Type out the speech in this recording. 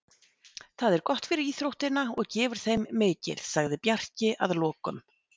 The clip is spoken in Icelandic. Það er gott fyrir íþróttina og gefur þeim mikið, sagði Bjarki að lokum.